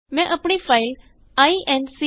ਮੈਂ ਆਪਣੀ ਫਾਈਲ incrdecrਸੀ